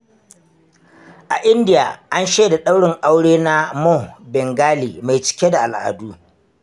A Indiya, an shaida daurin aure na Moh Bengali mai cike da al’adu.